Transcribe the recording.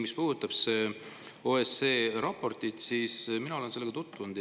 Mis puudutab OSCE raportit, siis mina olen sellega tutvunud.